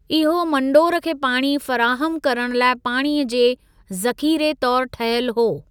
इहो मंडोर खे पाणी फ़राहमु करणु लाइ पाणीअ जे ज़ख़ीरे तौर ठहियल हो।